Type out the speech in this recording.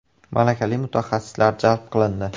Malakali mutaxassislar jalb qilindi.